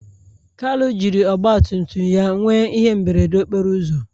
kalu jiri Ọgbatumtum ya nwee ihe mberede okporo ụzọ